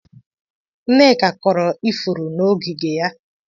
Nneka kọrọ ifuru n'ogige ya.